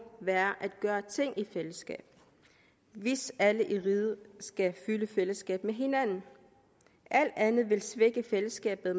være at gøre ting i fællesskab hvis alle i riget skal føle fællesskab med hinanden alt andet vil svække fællesskabet